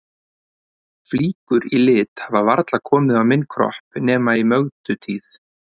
Flíkur í lit hafa varla komið á minn kropp nema í Mögdu tíð.